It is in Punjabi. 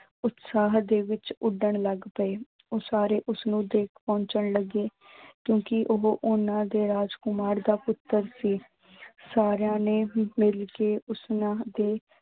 ਉਤਸ਼ਾਹ ਦੇ ਵਿਚ ਉੱਡਣ ਲੱਗ ਪਏ, ਉਹ ਸਾਰੇ ਉਸਨੂੰ ਦੇਖ ਪਹੁੰਚਣ ਲੱਗੇ ਕਿਉਂਕਿ ਉਹ ਉਹਨਾਂ ਦੇ ਰਾਜਕੁਮਾਰ ਦਾ ਪੁੱਤਰ ਸੀ ਸਾਰਿਆਂ ਨੇ ਮਿਲ ਕੇ ਉਸਨਾ ਦੇ